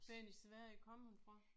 Hvorhenne i Sverige kom hun fra?